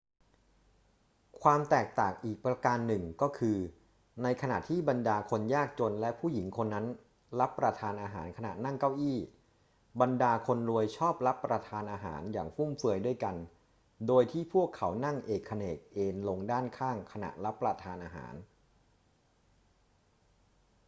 ความแตกต่างอีกประการหนึ่งก็คือ ในขณะที่บรรดาคนยากจนและผู้หญิงคนนั้นรับประทานอาหารขณะนั่งเก้าอี้ บรรดาคนรวยชอบรับประทานอาหารอย่างฟุ่มเฟือยด้วยกัน โดยที่พวกเขานั่งเอกเขนกเอนลงด้านข้างขณะรับประทานอาหาร